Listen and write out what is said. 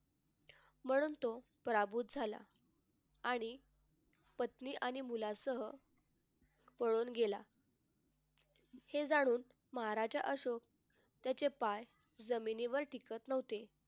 म्हणून तो पराभूत झाला आणि पत्नी आणि मुलासह पळून गेला हे जाणून महाराजा अशोक त्याचे पाय जमिनीवर टिकत नव्हते.